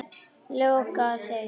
Lokaði þeim.